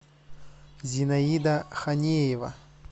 зинаида ханеева